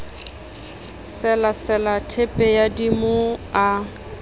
selasela theepe ya dimo a